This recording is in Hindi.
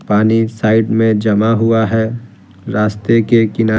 पानी साइड में जमा हुआ है रास्ते के किना--